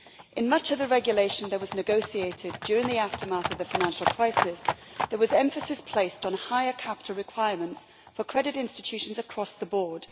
In much of the regulation that was negotiated during the aftermath of the financial crisis, there was emphasis placed on higher capital requirements for credit institutions across the board.